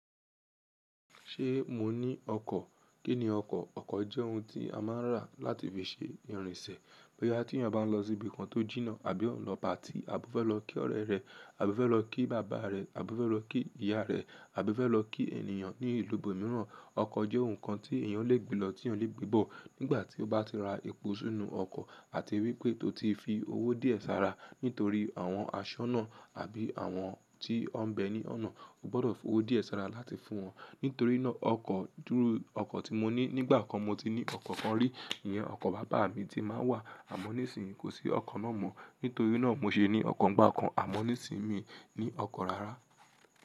Ṣé mo ní ọkọ̀? Kí ni ọkọ̀? Ọkọ̀ jẹ́ ohun tí a máa ń rà láti fi ṣe ìrìnsẹ̀. Bóyá tí èèyàn bá ń lọ síbi kan tó jìnnà, àbí ó ń lọ party, àbí ó fẹ́ lọ kí ọ̀rẹ́ rẹ̀, àbí ó fẹ́ lọ kí bàbá rẹ̀, àbí ó fẹ́ lọ kí ìyá rẹ̀ àbí ó fẹ́ lọ kí ènìyàn ní ìlú ibòmíràn, ọkọ̀ jẹ́ ohun kan tí ènìyàn lè gbe lọ, tí ènìyàn lè gbe bọ̀. Nígbà tí ó bá ti ra epo ṣí inú ọkọ̀ àti wípé tó ti fi owó díẹ̀ sára nítorí àwọn aṣọ́nà àbí àwọn tí wọ́n ń bẹ̀ẹ̀ ní ọ̀nà, o gbọ́dọ̀ fowó díẹ̀ sára láti fún wọn. Nítorí náà ọkọ̀, dúrú ọkọ̀ tí mo ní nígbà kan mo ti ní ọkọ̀ kan rí, ìyẹn ọkọ̀ bàbá mi tí máa ń wà àmọ́ nísìnyí kò sí ọkọ̀ náà mọ́. Nítorí náà mo ṣe ní ọkọ̀ ńgbà kan àmọ́ nísìnyí mi ní ọkọ̀ rárá.